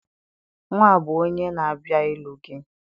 Nwa be onye na-abịa ịlụ gị